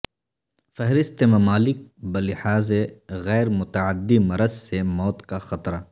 فہرست ممالک بلحاظ غیر متعدی مرض سے موت کا خطرہ